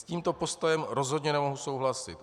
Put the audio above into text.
S tímto postojem rozhodně nemohu souhlasit.